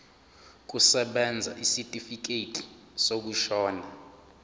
kusebenza isitifikedi sokushona